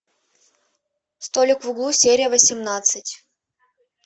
столик в углу серия восемнадцать